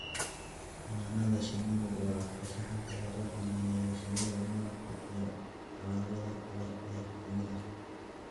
Xannaanada shinnidu waa farshaxanka lagu xanaaneeyo shinnida malabka iyo alaabada kale ee shinnida.